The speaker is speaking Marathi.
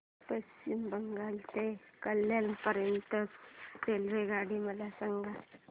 पश्चिम बंगाल ते कल्याण पर्यंत च्या रेल्वेगाड्या मला सांगा